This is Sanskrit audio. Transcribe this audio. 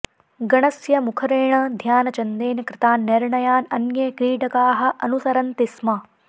गणस्य मुखरेण ध्यानचन्देन कृतान् निर्णयान् अन्ये क्रीडकाः अनुसरन्ति स्म